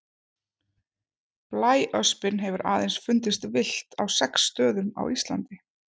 Blæöspin hefur aðeins fundist villt á sex stöðum á Íslandi.